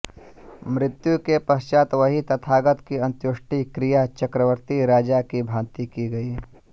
मृत्यु के पश्चात् वहीं तथागत की अंत्येष्टि क्रिया चक्रवर्ती राजा की भाँति की गई